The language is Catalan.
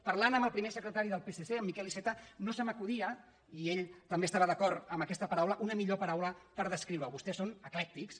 parlant amb el primer secretari del psc amb miquel iceta no se m’acudia i ell també estava d’acord en aquesta paraula una millor paraula per descriure·ho vostès són eclèctics